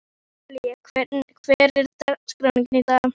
Natalí, hver er dagsetningin í dag?